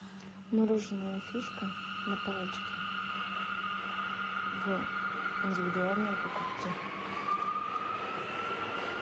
мороженое фишка на палочке в индивидуальной упаковке